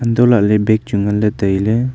antohlhley bag chu nganley tailey.